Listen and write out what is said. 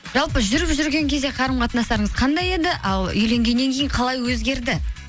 жалпы жүріп жүрген кезде қарым қатынастарыңыз қандай еді ал үйленгеннен кейін қалай өзгерді